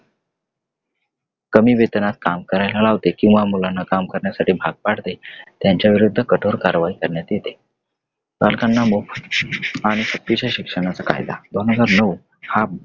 कमी वेतनात काम करायला लावते किंवा मुलांना काम करण्यासाठी भाग पाडते त्यांच्या विरुद्ध कठोर कारवाई करण्यात येते . बालकांना मोफत आणि सक्तीच्या शिक्षणाचा कायदा दोन हजार नऊ हा अं